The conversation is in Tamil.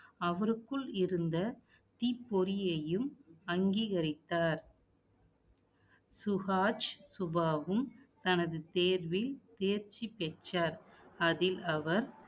அவருக்குள் இருந்த தீப்பொறியையும், அங்கீகரித்தார் சுஹாஜ், சுபாவம், தனது தேர்வில், தேர்ச்சி பெற்றோர். அதில், அவர்